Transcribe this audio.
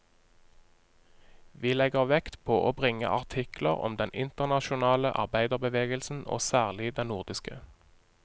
Vi legger vekt på å bringe artikler om den internasjonale arbeiderbevegelsen og særlig den nordiske.